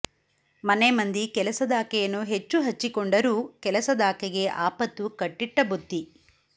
ಮನೆಮಂದಿ ಕೆಲಸದಾಕೆಯನ್ನು ಹೆಚ್ಚು ಹಚ್ಚಿ ಕೊಂಡರೂ ಕೆಲಸದಾಕೆಗೆ ಆಪತ್ತು ಕಟ್ಟಿಟ್ಟ ಬುತ್ತಿ